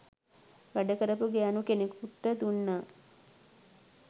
වැඩකරපු ගෑනු කෙනෙකුට දුන්නා.